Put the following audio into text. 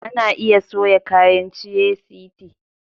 Ana iya soya kayan ciye-city